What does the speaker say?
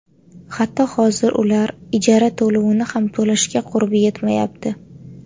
Hatto hozir ular ijara to‘lovini ham to‘lashga qurbi yetmayapti.